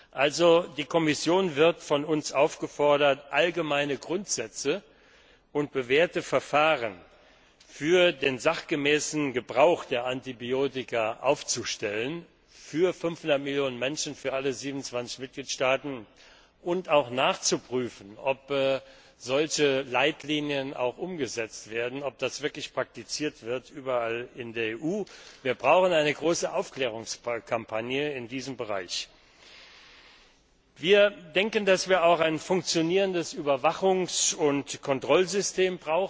Deshalb wird die Kommission von uns aufgefordert, allgemeine Grundsätze und bewährte Verfahren für den sachgemäßen Gebrauch von Antibiotika festzulegen für 500 Millionen Menschen, für alle 27 Mitgliedstaaten, und auch nachzuprüfen, ob solche Leitlinien auch umgesetzt werden, ob das wirklich praktiziert wird überall in der EU. Wir brauchen eine große Aufklärungskampagne in diesem Bereich. Wir denken, dass wir auch ein funktionierendes Überwachungs und Kontrollsystem